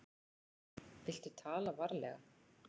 Viltu tala varlega.